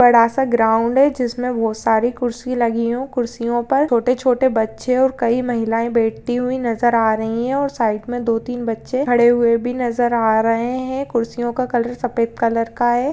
बडा सा ग्राउन्ड है जिसमे बहोत सारी कुर्सी लगी हो कुर्सियों पर छोटे-छोटे बच्चे ओर कई महिलाए बैठती हुई नजर आ रही है ओर साइड मे दो तीन बच्चे खड़े हुए भी नजर आ रहे हैं। कुर्सियों का कलर सफेद कलर का है।